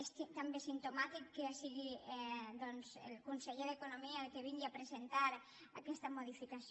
és també simptomàtic que sigui doncs el conseller d’economia el que vingui a presentar aquesta modificació